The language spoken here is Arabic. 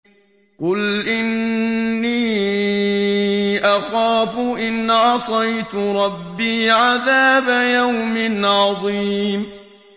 قُلْ إِنِّي أَخَافُ إِنْ عَصَيْتُ رَبِّي عَذَابَ يَوْمٍ عَظِيمٍ